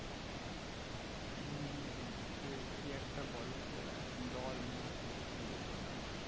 হুম হুম হুম সেই কি একটা বলে যে দল না কি একটা বলে ওটা